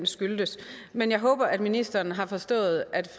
skyldtes men jeg håber at ministeren har forstået at